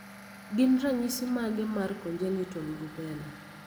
gin ranyisi mage mar Congenital rubella?